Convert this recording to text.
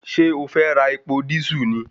Ṣé o fẹ́ ra epo dísù ni